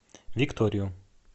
викторию